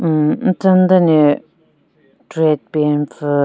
Hhmm nchenyu den le track pant pvü.